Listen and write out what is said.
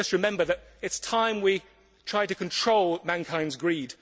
Let us just remember it is time we tried to control mankind's greed